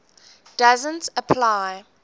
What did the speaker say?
doesn t apply